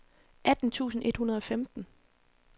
atten tusind et hundrede og femten